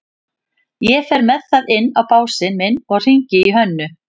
Ég fer með það inn á básinn minn og hringi í Hönnu.